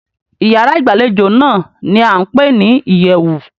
Ìyárá ìgbàlejò náà ní a ń pé ní ìyẹ̀wù.